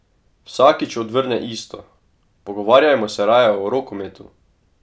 Vsakič odvrne isto: "Pogovarjajmo se raje o rokometu.